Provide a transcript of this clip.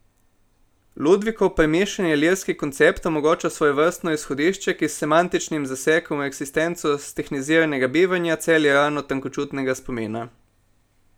Ludvikov premišljeni lirski koncept omogoča svojevrstno izhodišče, ki s semantičnim zasekom v eksistenco stehniziranega bivanja celi rano tankočutnega spomina.